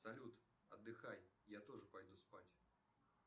салют отдыхай я тоже пойду спать